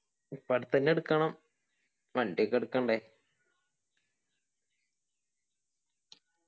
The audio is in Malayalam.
ഇപ്പൊ അടുത്ത് തന്നെ എടുക്കണം വണ്ടി ഒക്കെ എടുക്കണ്ടെ